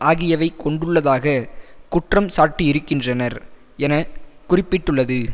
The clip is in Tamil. ஆகியவை கொண்டுள்ளதாகக் குற்றம் சாட்டியிருக்கின்றனர் என குறிப்பிட்டுள்ளது